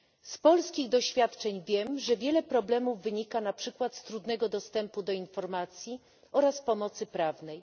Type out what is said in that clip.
Z polskich doświadczeń wiem, że wiele problemów wynika na przykład z trudnego dostępu do informacji oraz pomocy prawnej.